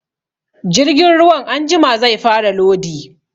Jirgin ruwan anjima zai fara lodi